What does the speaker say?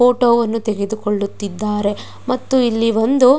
ಫೋಟೋವನ್ನು ತೆಗೆದುಕೊಳುತಿದ್ದಾರೆ ಮತ್ತು ಇಲ್ಲಿ ಒಂದು --